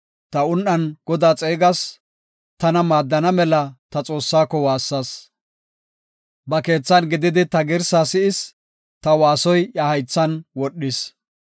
Ta un7an Godaa xeegas; tana maaddana mela ta Xoossaako waassas. Ba keethan gididi ta girsaa si7is; ta waasoy iya haythan wodhis.